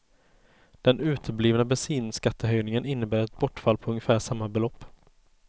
Den uteblivna bensinskattehöjningen innebär ett bortfall på ungefär samma belopp.